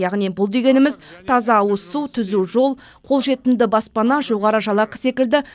яғни бұл дегеніміз таза ауызсу түзу жол қолжетімді баспана жоғары жалақы секілді